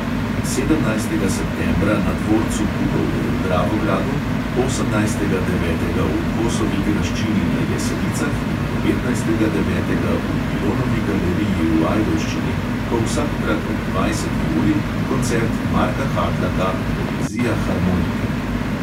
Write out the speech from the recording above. Sedemnajstega septembra na dvorcu bukovje v dravogradu, osemnajstega devetega v kosovi graščini na jesenicah in devetnajstega devetega v pilonovi galeriji v ajdovščini bo vsakokrat ob dvajseti uri koncert marka hatlaka poezija harmonike.